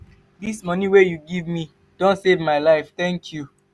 dis moni wey you give me don save my life thank you.